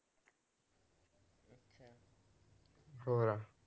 ਹੋਰ